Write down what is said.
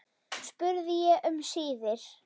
spurði ég um síðir.